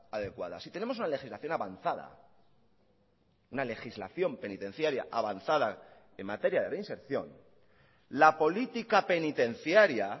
adecuada si tenemos una legislación avanzada una legislación penitenciaria avanzada en materia de reinserción la política penitenciaría